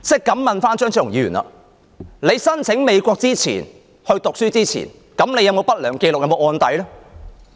敢問張超雄議員，你申請到美國讀書前，有否不良紀錄或案底呢？